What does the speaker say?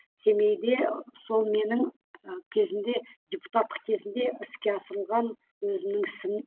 семейде сол менің ы кезінде депутаттық кезімде іске асырылған өзімнің ісім